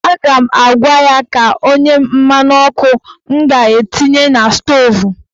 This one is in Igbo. A ga m agwa ya ka o nye m mmanụ ọkụ m ga-etinye na stoovu.